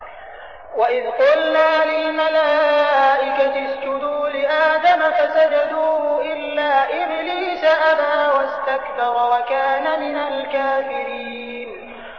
وَإِذْ قُلْنَا لِلْمَلَائِكَةِ اسْجُدُوا لِآدَمَ فَسَجَدُوا إِلَّا إِبْلِيسَ أَبَىٰ وَاسْتَكْبَرَ وَكَانَ مِنَ الْكَافِرِينَ